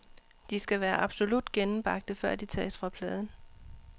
De skal være absolut gennembagte, før de tages fra pladen.